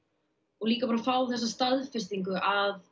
og líka að fá þessa staðfestingu að